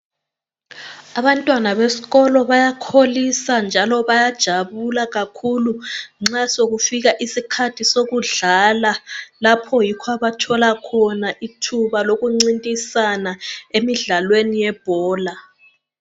Abantwana besikolo bayakholisa njalo bayajabula kakhulu nxa sokufika isikhathi sokudlala lapho yikho abathola khona ithuba lokuncintisana emidlalweni yebhola.